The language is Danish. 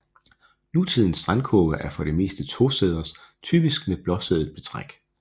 Nutidens strandkurve er for det meste tosæders typisk med blåstribet betræk